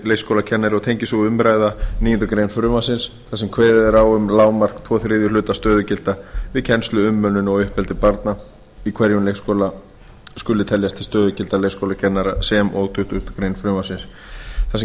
og tengist sú umræða níundu grein frumvarpsins þar sem kveðið er á um lágmark tvo þriðju hluta stöðugilda við kennslu umönnun og uppeldi barna í hverjum leikskóla skuli teljast til stöðugilda leikskólakennara sem og í tuttugustu greinar frumvarpsins þar sem